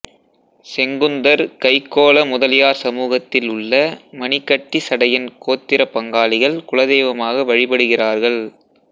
செங்குந்தர் கைக்கோள முதலியார் சமூகத்தில் உள்ள மணிகட்டிசடையன் கோத்திர பங்காளிகள் குலதெய்வமாக வழிபடுகிறார்கல்